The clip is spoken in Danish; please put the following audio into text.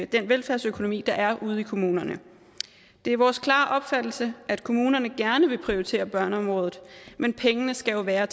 den velfærdsøkonomi der er ude i kommunerne det er vores klare opfattelse at kommunerne gerne vil prioritere børneområdet men pengene skal jo være